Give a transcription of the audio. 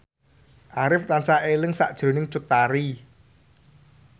Arif tansah eling sakjroning Cut Tari